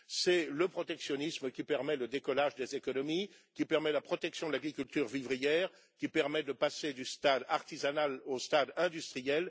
C'est le protectionnisme qui permet le décollage des économies, qui permet la protection de l'agriculture vivrière et qui permet aussi de passer du stade artisanal au stade industriel.